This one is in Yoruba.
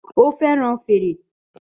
Ó fẹ́ràn fèrè